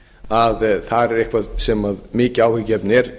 að þar er eitthvað sem er mikið áhyggjuefni er